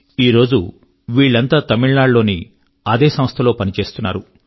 ఈరోజు వీళ్ళంతా తమిళనాడు లోని అదే సంస్థ లో పని చేస్తున్నారు